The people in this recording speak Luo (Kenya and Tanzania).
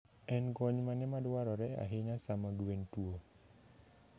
En kony mane madwarore ahinya sama gwen tuwo?